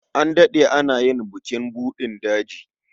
An daɗe ana yin bukin buɗin daji.